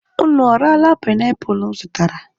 Ụnụ ọ raala panaipụlụ m zụtara?